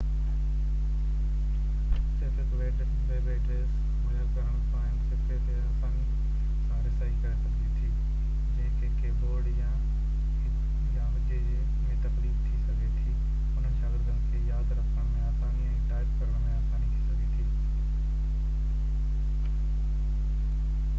صرف هڪ web address مهيا ڪرڻ سان هن صفحي تي آساني سان رسائي ڪري سگهجي ٿي جنهن کي ڪي بورڊ يا هجي ۾ تڪليف ٿي سگهي ٿي انهن شاگردن کي ياد رکهڻ ۾ آساني ۽ ٽائپ ڪرڻ ۾ آساني ٿي سگهي ٿي